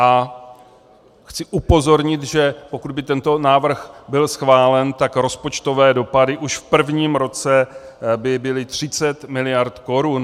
A chci upozornit, že pokud by tento návrh byl schválen, tak rozpočtové dopady už v prvním roce by byly 30 miliard korun.